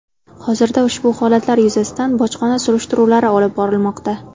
Hozirda ushbu holatlar yuzasidan bojxona surishtiruvlari olib borilmoqda.